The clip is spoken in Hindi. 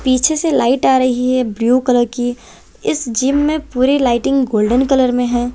पीछे से लाइट आ रही है ब्लू कलर की इस जिम में पूरी लाइटिंग गोल्डन कलर में है।